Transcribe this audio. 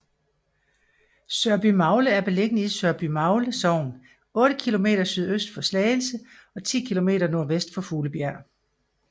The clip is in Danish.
Sørbymagle er beliggende i Sørbymagle Sogn otte kilometer sydøst for Slagelse og 10 kilometer nordvest for Fuglebjerg